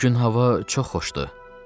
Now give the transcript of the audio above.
Bu gün hava çox xoşdur.